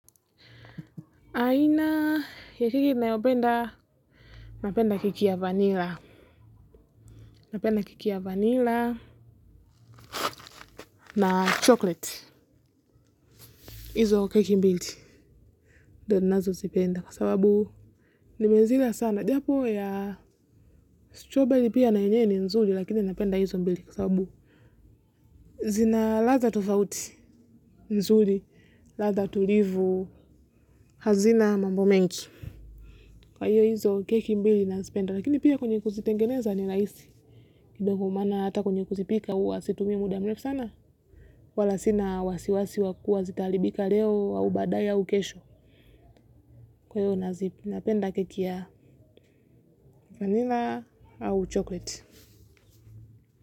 Aina ya keki ninayopenda, napenda keki ya vanilla, napenda keki ya vanilla na chocolate. Hizo keki mbili, ndo ninazozipenda, kwa sababu nimezila sana. Japo ya strawberry pia na yenyewe ni nzuri, lakini napenda hizo mbili, kwa sababu zina ladha tofauti nzuri, ladha tulivu hazina mambo mengi. Kwa hiyo hizo keki mbili nazipenda, lakini pia kwenye kuzitengeneza ni rahisi, kidogo maana hata kwenye kuzipika huwa situmii muda mrefu sana, wala sina wasiwasi wa kuwa zitaharibika leo au baadaya au kesho, kwa hiyo napenda keki ya vanilla au chocolate.